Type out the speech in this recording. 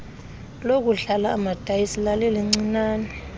lokudlala amadayisi lalilincinane